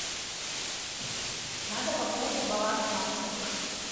надо пополнить баланс маши